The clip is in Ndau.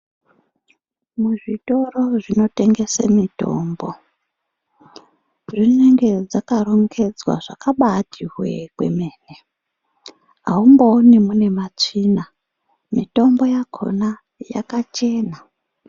Muzvitoro zvinotengese mitombo dzinenge dzakarongedzwa zvakabati hwekwemene aumbooni mune matsvina mitombo yakona yakachena.